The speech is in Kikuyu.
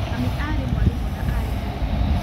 Mami aarĩ mwarimũ na aarĩ mũrĩmi.